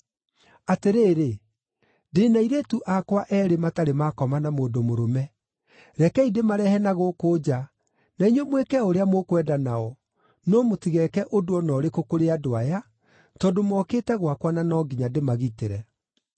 Atĩrĩrĩ, ndĩ na airĩtu akwa eerĩ matarĩ maakoma na mũndũ mũrũme. Rekei ndĩmarehe na gũkũ nja, na inyuĩ mwĩke o ũrĩa mũkwenda nao. No mũtigeke ũndũ o na ũrĩkũ kũrĩ andũ aya, tondũ mokĩte gwakwa na no nginya ndĩmagitĩre.”